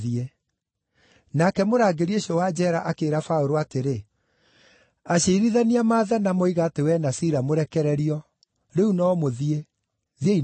Nake mũrangĩri ũcio wa njeera akĩĩra Paũlũ atĩrĩ, “Aciirithania maathana, moiga atĩ wee na Sila mũrekererio. Rĩu no mũthiĩ. Thiĩi na thayũ.”